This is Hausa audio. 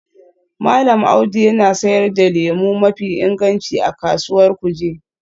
Mallam Audu yana sayar da lemu mafi inganci a Kasuwar Kuje